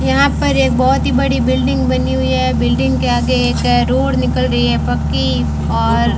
यहां पर एक बहुत ही बड़ी बिल्डिंग बनी हुई है बिल्डिंग के आगे एक रोड निकल रही है पक्की और --